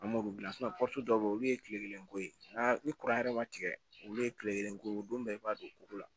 An m'olu dilan dɔw be yen olu ye kile kelen ko ye n'a ni kuran yɛrɛ ma tigɛ olu ye kile kelen ko don bɛɛ i b'a don kuru la